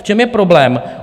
V čem je problém?